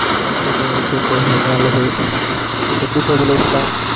okay bro okay bro நல்லது. எப்படி போகுது life லா